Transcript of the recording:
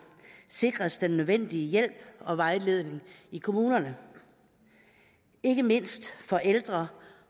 sikres den nødvendige hjælp og vejledning i kommunerne ikke mindst ældre